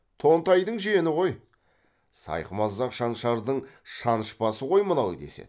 тонтайдың жиені ғой сайқымазақ шаншардың шанышпасы ғой мынау деседі